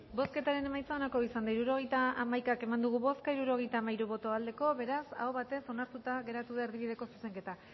bozketaren emaitza onako izan da hirurogeita hamaika eman dugu bozka hirurogeita hamairu boto aldekoa beraz aho batez onartuta geratu da erdibideko zuzenketa